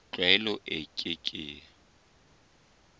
tlwaelo e ke ke ya